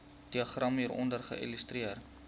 diagram hieronder illustreer